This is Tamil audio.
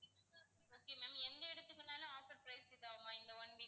okay ma'am எந்த இடத்துக்குனாலும் offer price இதுவா இந்த one week க்கு